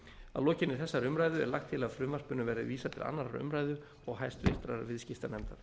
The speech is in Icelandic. að lokinni þessari umræðu er lagt til að frumvarpinu verði vísað til annarrar umræðu og háttvirtur viðskiptanefndar